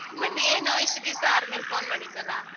ಮತ್ತೆ ಏನು ಇಷ್ಟು ದಿವ್ಸ ಆದ್ಮೇಲೆ phone ಮಾಡಿದ್ದಲ್ಲ.